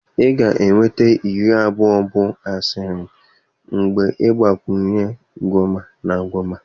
Ị ga-enweta iri abụọ bụ Ashirin mgbe ị gbakwunye Gwoma na Gwoma.